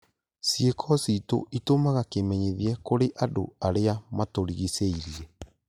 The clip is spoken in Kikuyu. Ciĩko citũ itũmaga kĩmenyithia kũrĩ andũ arĩa matũrigicĩirie